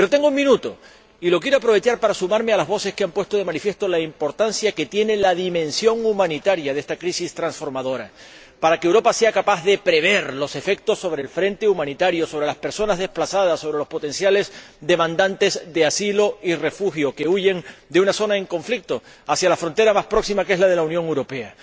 Pero tengo un minuto, y lo quiero aprovechar para sumarme a las voces que han puesto de manifiesto la importancia que tiene la dimensión humanitaria de esta crisis transformadora, para que Europa sea capaz de prever los efectos sobre el frente humanitario, sobre las personas desplazadas, sobre los potenciales solicitantes de asilo y refugio que huyen de una zona en conflicto hacia la frontera más próxima, que es la de la Unión Europea.